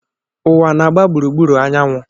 Uwa na-agba gburugburu anyanwụ